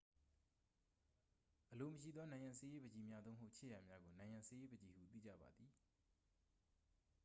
အလိုမရှိသော နံရံဆေးရေးပန်ချီများ သို့မဟုတ် ခြစ်ရာများကို နံရံဆေးရေးပန်ချီဟု သိကြပါသည်